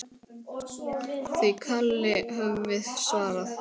Því kalli höfum við svarað.